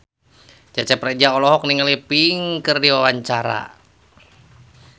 Cecep Reza olohok ningali Pink keur diwawancara